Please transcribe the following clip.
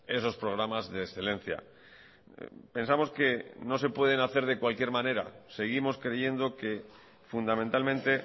esos programas de excelencia pensamos que no se pueden hacer de cualquier manera seguimos creyendo que fundamentalmente